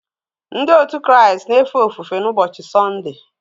Ndị otu Kraịst na-efe ofufe n’ụbọchị Sọnde